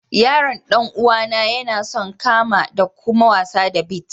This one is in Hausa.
Yaron dan uwa na, ya na son kama da kuma wasa da beets.